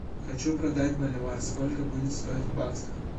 хочу продать боливар сколько будет стоить в баксах